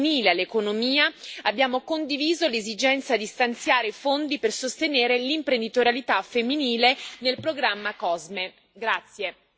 Infine, per incentivare la partecipazione femminile all'economia, abbiamo condiviso l'esigenza di stanziare fondi per sostenere l'imprenditorialità femminile nel programma COSME.